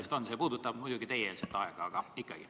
See küsimus puudutab muidugi teie-eelset aega, aga ikkagi.